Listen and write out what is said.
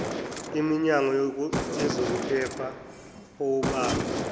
imnyango wezokuphepha owabamba